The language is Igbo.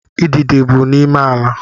Idide bi n’ime ala